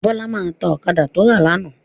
Bọ́lá máa ta ọ̀kadà tó rà lánàá.